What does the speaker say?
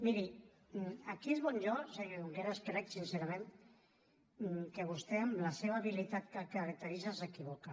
miri aquí és on jo senyor junqueras crec sincerament que vostè amb la seva habilitat que el caracteritza s’equivoca